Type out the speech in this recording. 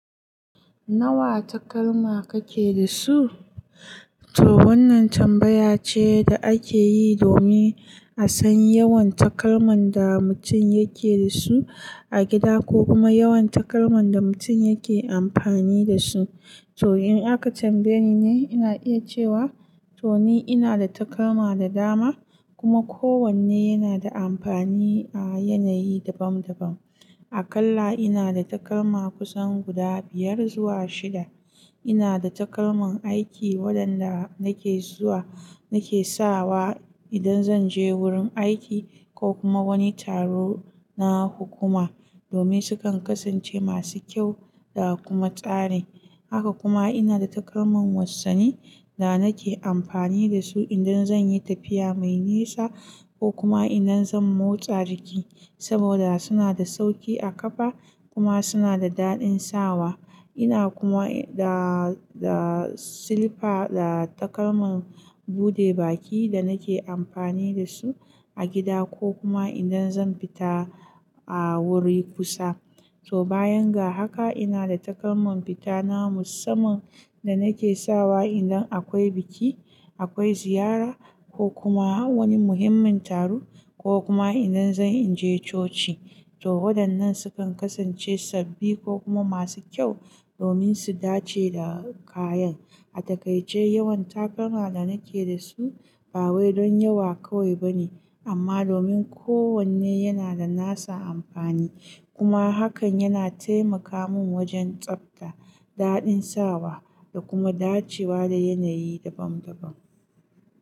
Nawa takalma kake da su? To wannan tambaya ce da ake yi domin a san yawan takalman da mutum yake da su a gida ko kuma yawan takalman da mutum yake amfani da su. To in aka tambaye ni ne, ina iya cewa to ni ina da takalma da dama kuma kowanne yana da amfani a yanayi dabam dabam. A kalla ina da takalma kusan guda biyar zuwa shida. Ina da takalman aiki waɗanda nake zuwa nake sawa idan zan je wurin aiki ko kuma wani taro na hukuma domin sukan kasance masu kyau da kuma tsari. Haka kuma ina da takalman wassani da nake amfani da su idan zan yi tafiya mai nisa ko kuma idan zan motsa jiki saboda suna da sauƙi a kafa kuma suna da daɗin sawa. Ina kuma da, da silifa da takalman buɗe baki da nake amfani da su a gida ko kuma idan zan fita a wuri kusa. To bayan ga haka ina da takalman fita na musamman da nake sawa idan akwai biki, akwai ziyara ko kuma wani muhimmin taro ko kuma idan zan in je coci. To waɗannan sukan kasance sabbi ko kuma masu kyau domin su dace da kayan. A takaice yawan takalma da nake da su ba wai don yawa kawai ba ne amma domin kowanne yana da nasa amfani. Kuma hakan yana taimaka min wajen tsabta, daɗin sawa da kuma dacewa da yanayi dabam dabam.